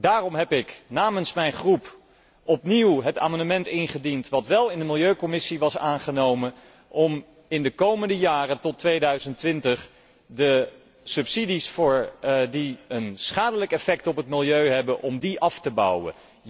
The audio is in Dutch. Daarom heb ik namens mijn fractie opnieuw het amendement ingediend dat wél in de milieucommissie was aangenomen om in de komende jaren tot 2020 de subsidies die een schadelijk effect op het milieu hebben, af te bouwen.